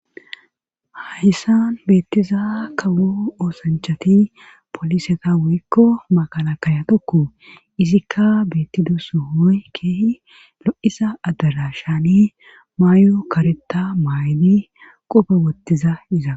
hahissan beettiza kawo oosanchati poliseta wuyikko makala kayatokku izikka beettido so hooy keehi lo7isa addara shaani maayo kareta maaybi qoba wottiza iza